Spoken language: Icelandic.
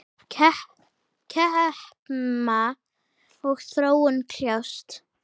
Kempa og Þróun kljást.